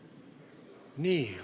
Nii.